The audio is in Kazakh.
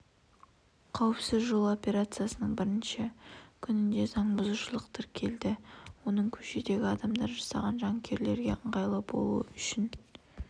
қауіпсіз жол операциясының бірінші күнінде заң бұзушылық тіркелді оның көшедегі адамдар жасаған жанкүйерлерге ыңғайлы болуы үшін